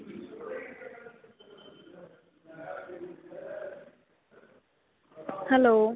hello.